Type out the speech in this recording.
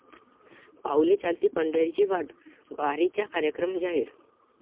पाऊले चालती पंढरीची वाट...वारीचा कार्यक्रम जाहीर